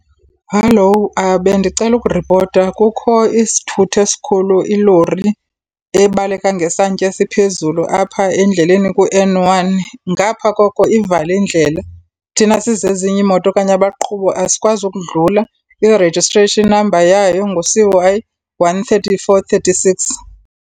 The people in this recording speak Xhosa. Hallo. Bendicela ukuripota kukho isithuthi esikhulu, ilori, ebaleka ngesantya esiphezulu apha endleleni ku-N one. Ngapha koko ivale indlela. Thina sizezinye iimoto okanye abaqhubi asikwazi ukudlula, i registration namba yayo ngu-C_Y one thirty-four thirty-six.